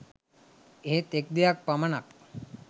එහෙත් එක් දෙයක් පමනක්